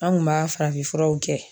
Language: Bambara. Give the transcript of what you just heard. An kun b'a farafinfuraw kɛ